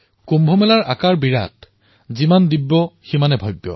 কুম্ভৰ স্বৰূপ বিৰাট যিমানেই দিব্য সিমানেই ভব্যও